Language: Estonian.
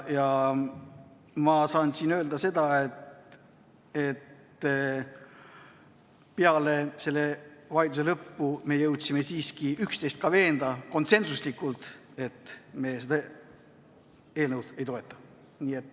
Ma saan öelda seda, et peale selle vaidluse lõppu me jõudsime siiski üksteist ka veenda konsensuslikult, et me seda eelnõu ei toeta.